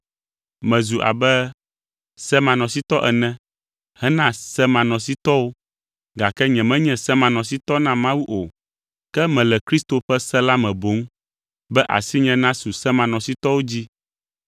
Mezu abe semanɔsitɔ ene hena semanɔsitɔwo (gake nyemenye semanɔsitɔ na Mawu o, ke mele Kristo ƒe se la me boŋ), be asinye nasu semanɔsitɔwo dzi.